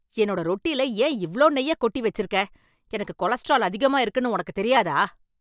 என்னோட ரொட்டில ஏன் இவ்ளோ நெய்ய கொட்டி வச்சிருக்க, எனக்கு கொலஸ்ட்ரால் அதிகமா இருக்குனு உனக்கு தெரியாதா?